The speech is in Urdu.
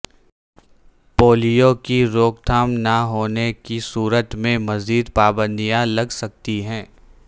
پولیو کی روک تھام نہ ہونے کی صورت میں مزید پانبدیاں لگ سکتی ہیں